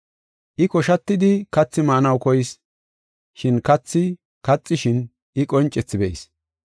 I koshatidi kathi maanaw koyis, shin kathi kaxishin I qoncethi be7is.